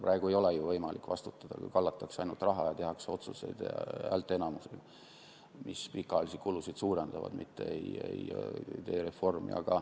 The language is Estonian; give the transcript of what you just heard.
Praegu ei ole ju võimalik vastutada, kui ainult kallatakse raha ja tehakse häälteenamusega otsuseid, mis pikaajalisi kulusid suurendavad, mitte ei tehta reformi.